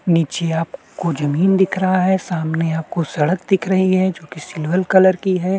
नीचे आपको ज़मीन दिख रहा है सामने आपको सड़क दिख रही है जो की सिल्वर कलर की है।